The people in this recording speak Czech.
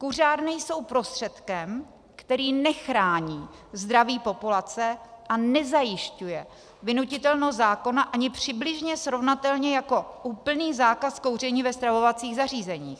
Kuřárny jsou prostředkem, který nechrání zdraví populace a nezajišťuje vynutitelnost zákona ani přibližně srovnatelně jako úplný zákaz kouření ve stravovacích zařízeních.